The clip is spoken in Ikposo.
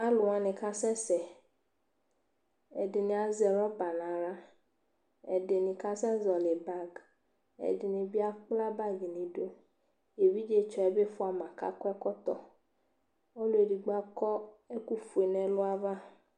Alʋ wanɩ kasɛsɛ Ɛdɩnɩ azɛ rɔba nʋ aɣla, ɛdɩnɩ kasɛzɔɣɔlɩ bag Ɛdɩnɩ bɩ akpla bagɩ nʋ idu Evidzetsɔ yɛ bɩ fʋa ma kʋ akɔ ɛkɔtɔ Ɔlʋ edigbo akɔ ɛkʋfue nʋ ɛlʋ ava